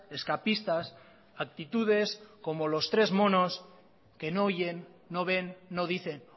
escapistas actitudes como los tres monos que no oyen no ven no dicen